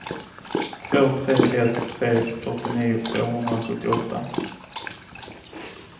två tre ett tre fyrtionio tvåhundrasjuttioåtta